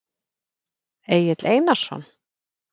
Egill Einarsson?